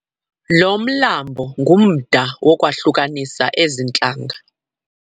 Lo mlambo ngumda owahlukanisa ezi ntlanga.